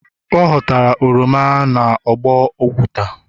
ọ Ọ ghọtara oroma n'ugbo oguta.